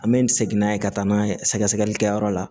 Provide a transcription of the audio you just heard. An bɛ nin segin n'a ye ka taa n'a ye sɛgɛsɛgɛlikɛyɔrɔ la